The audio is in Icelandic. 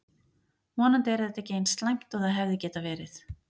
Vonandi er þetta ekki eins slæmt og það hefði geta verið.